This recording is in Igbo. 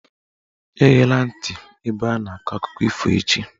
Eghela ntị ebe a na-akọ akụkọ ifo echi "!